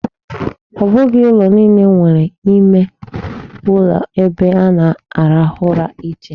Ọ bụghị ụlọ niile nwere ime uloebe a na-arahụ ụra iche.